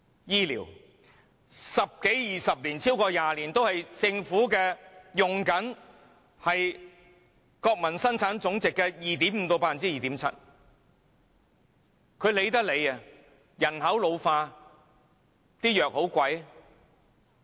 醫療，十多二十年，超過20年政府都是用國民生產總值的 2.5% 至 2.7% 來處理，她懶得理會。